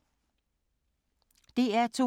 DR2